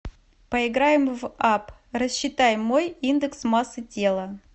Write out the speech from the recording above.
поиграем в апп рассчитай мой индекс массы тела